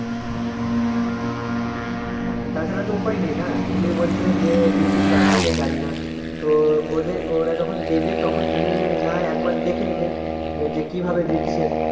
হ্যাঁ তা ছাড়া তো উপায় নেই না তুমি বলছ যে বিচুন জাগ দিতে জানি না তো ওদের ওরা যখন দেবে তখন তুমি না হয় একবার দেখে নেবে যে কীভাবে দিচ্ছে